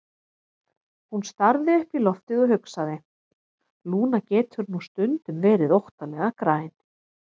Hún starði upp í loftið og hugsaði: Lúna getur nú stundum verið óttalega græn.